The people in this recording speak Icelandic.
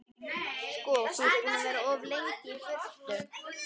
Þú ert sko búinn að vera of lengi í burtu.